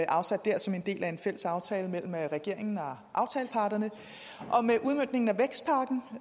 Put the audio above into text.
afsat dér som en del af en fælles aftale mellem regeringen og aftaleparterne og med udmøntningen